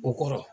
O kɔrɔ